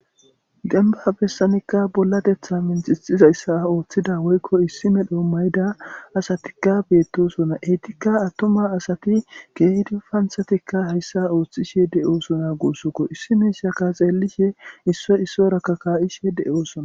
demba bessanikka bolla detha mintixizayssa ooththida woykko issi medho mayda asatikka beettosona eytikka attuma asati ke7idi panhatikka hayssa ooththishe de7oosona guussokko issi miishaka xeellishe issoy issoyrakka kaa7ishe de7oosona